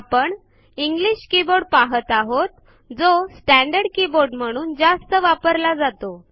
आपण English keyboard पाहत आहोत जो स्टँडर्ड कीबोर्ड म्हणून जास्त वापरला जातो